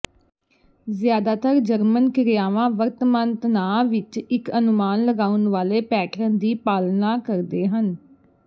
ਜ਼ਿਆਦਾਤਰ ਜਰਮਨ ਕ੍ਰਿਆਵਾਂ ਵਰਤਮਾਨ ਤਣਾਅ ਵਿੱਚ ਇੱਕ ਅਨੁਮਾਨ ਲਗਾਉਣ ਵਾਲੇ ਪੈਟਰਨ ਦੀ ਪਾਲਣਾ ਕਰਦੇ ਹਨ